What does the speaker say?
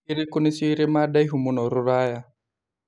ĩrikũ nĩcio irĩma ndaihu mũno rũraya